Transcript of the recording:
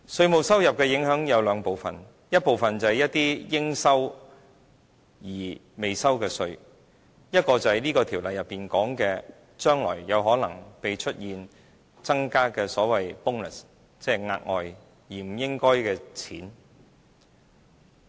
稅務收入的影響有兩部分：一部分是一些應收而未收的稅，另一部分是《條例草案》內所指將來有可能增加的所謂 "bonus"， 即額外而不應該賺的錢。